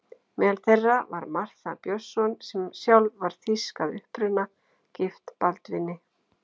Meðal þeirra var Martha Björnsson, sem sjálf var þýsk að uppruna, gift Baldvini